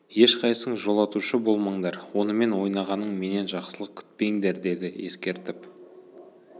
ешқайсың жолатушы болмаңдар онымен ойнағаның менен жақсылық күтпеңдер деді ескертіп